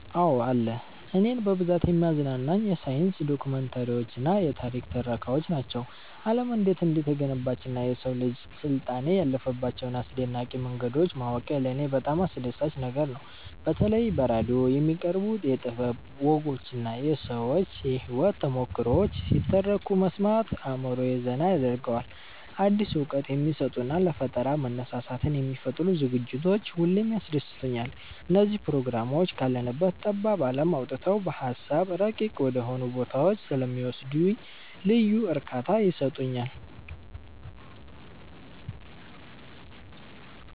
አዎ አለ። እኔን በብዛት የሚያዝናኑኝ የሳይንስ ዶክመንተሪዎችና የታሪክ ትረካዎች ናቸው። ዓለም እንዴት እንደተገነባችና የሰው ልጅ ስልጣኔ ያለፈባቸውን አስደናቂ መንገዶች ማወቁ ለኔ በጣም አስደሳች ነገር ነው። በተለይ በራዲዮ የሚቀርቡ የጥበብ ወጎችና የሰዎች የህይወት ተሞክሮዎች ሲተረኩ መስማት አእምሮዬን ዘና ያደርገዋል። አዲስ እውቀት የሚሰጡና ለፈጠራ መነሳሳትን የሚፈጥሩ ዝግጅቶች ሁሌም ያስደስቱኛል። እነዚህ ፕሮግራሞች ካለንበት ጠባብ ዓለም አውጥተው በሃሳብ ረቂቅ ወደሆኑ ቦታዎች ስለሚወስዱኝ ልዩ እርካታ ይሰጡኛል።